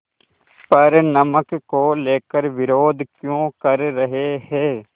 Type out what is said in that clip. पर नमक को लेकर विरोध क्यों कर रहे हैं